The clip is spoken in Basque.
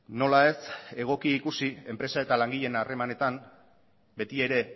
nola ez egoki ikusi enpresa eta langileen harremanetan betiere